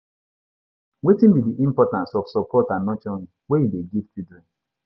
Wetin be di importance of support and nurturing wey you dey give children?